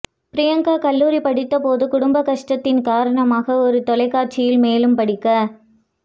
பிரியங்கா கல்லூரி படித்தபோது குடும்ப கஷ்டத்தின் காரணமாக ஒரு தொலைக்காட்சியில் மேலும் படிக்க